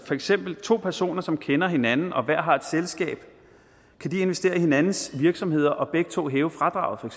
for eksempel to personer som kender hinanden og som hver har et selskab investere i hinandens virksomhed og begge to hæve fradraget